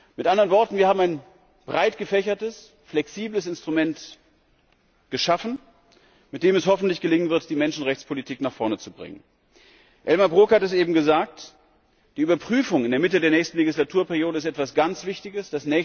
Mit anderen Worten Wir haben ein breit gefächertes, flexibles Instrument geschaffen, mit dem es hoffentlich gelingen wird, die Menschenrechtspolitik nach vorne zu bringen. Elmar Brok hat es eben gesagt Die Überprüfung in der Mitte der nächsten Legislaturperiode ist etwas ganz Wichtiges.